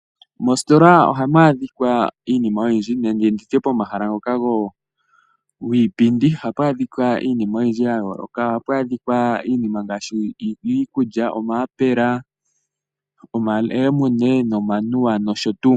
Moositola ohamu adhika Iinima oyindji nenge nditye pomahala ngoka giipindi ohapu adhika iinima oyindji ya yooloka, ohapu adhika iinima ngaashi yiikulya omayapela, omalemune, nomanuwa nosho tuu.